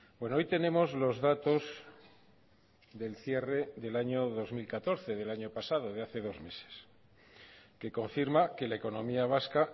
bueno hoy tenemos los datos del cierre del año dos mil catorce del año pasado de hace dos meses que confirma que la economía vasca